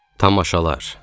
Tamaşalar.